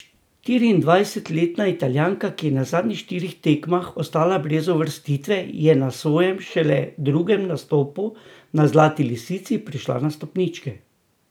Štiriindvajsetletna Italijanka, ki je na zadnjih štirih tekmah ostala brez uvrstitve, je na svojem šele drugem nastopu na Zlati lisici prišla na stopničke.